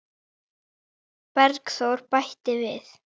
Bergþór bætir við.